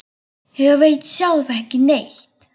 Ég veit sjálf ekki neitt.